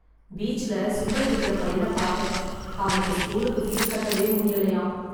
பீச்ல சுண்டல் விக்கிற பையன பாத்தேன் அவனுக்கு ஸ்கூலுக்கு ஃபீஸ் கட்டவே முடியலையாம்.